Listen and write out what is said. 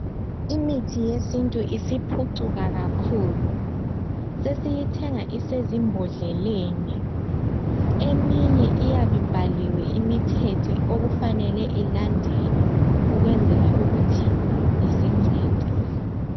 Imithi yesintu isiphucukile kakhulu sesiyi thenga isezimbodleleni eminye iyabe ibhaliwe imithetho okumele ilandelwe ukukwenzela ukuthi isincede.